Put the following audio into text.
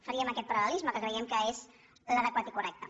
faríem aquest paral·lelisme que creiem que és l’adequat i correcte